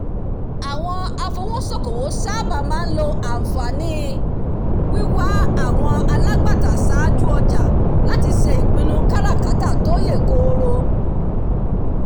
àwọn afowósókowò sáábà máa ń lo àǹfààní wíwà àwọn alágbàtà sáájú ọjà láti ṣe ìpinnu káràkátà tó yè kooro